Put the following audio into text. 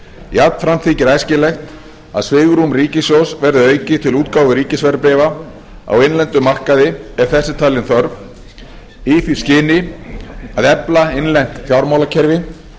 jafnframt þykir æskilegt að svigrúm ríkissjóðs verði aukið til útgáfu ríkisverðbréfa á innlendum markaði ef þess er talin þörf í því skyni að efla innlent fjármálakerfi